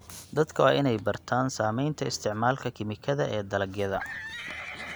Dadka waa in ay bartaan saamaynta isticmaalka kiimikada ee dalagyada.